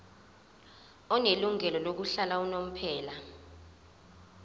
onelungelo lokuhlala unomphela